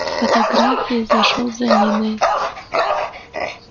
фотографии зашёл за ниной